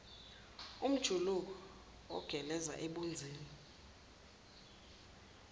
umjuluko ogeleza ebunzini